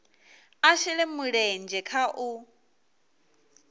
a shele mulenzhe kha u